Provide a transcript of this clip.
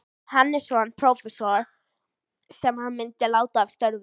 Hannessonar, prófessors, sem senn myndi láta af störfum.